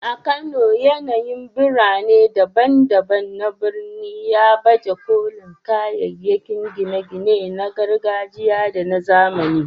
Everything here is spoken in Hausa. A Kano, yanayin birane daban-daban na birnin ya baje kolin kayayyakin gine-gine na gargajiya da na zamani.